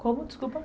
Como, desculpa?